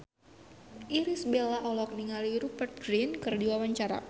Irish Bella olohok ningali Rupert Grin keur diwawancara